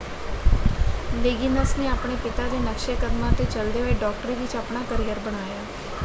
Liggins ਨੇ ਆਪਣੇ ਪਿਤਾ ਦੇ ਨਕਸ਼ੇ ਕਦਮਾਂ 'ਤੇ ਚੱਲਦੇ ਹੋਏ ਡਾਕਟਰੀ ਵਿੱਚ ਆਪਣਾ ਕੈਰੀਅਰ ਬਣਾਇਆ।